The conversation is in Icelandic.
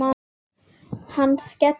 Hann skellir upp úr.